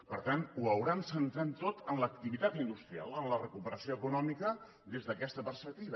per tant ho deuen haver centrat tot en l’activitat industrial en la recuperació econòmica des d’aquesta perspectiva